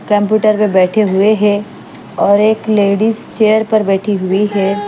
Computer पे बैठे हुए है और एक लेडिस चेयर पर बैठी हुई है।